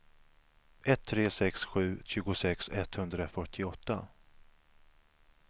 ett tre sex sju tjugosex etthundrafyrtioåtta